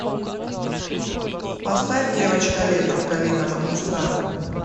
поставь девочка летом калинова моста